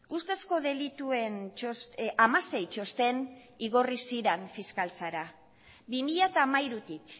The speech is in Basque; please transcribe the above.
ustezko delituen hamasei txosten igorri ziren fiskaltzara bi mila hamairutik